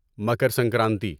Makar Sankranti